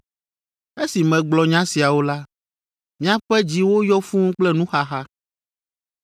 Esi megblɔ nya siawo la, miaƒe dziwo yɔ fũu kple nuxaxa.